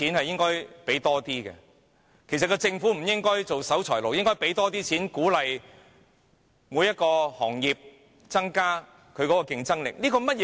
政府其實不應做守財奴，而應增加撥款，鼓勵各行業提升競爭力。